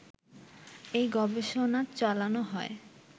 এই গবেষণা চালানো হয়